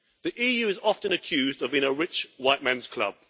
The EU is often accused of being a rich white man's club.